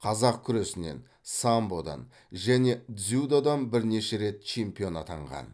қазақ күресінен самбодан және дзюдодан бірнеше рет чемпион атанған